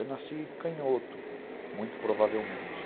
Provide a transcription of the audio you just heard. Eu nasci canhoto, muito provavelmente.